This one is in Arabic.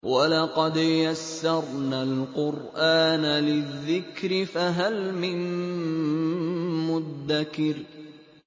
وَلَقَدْ يَسَّرْنَا الْقُرْآنَ لِلذِّكْرِ فَهَلْ مِن مُّدَّكِرٍ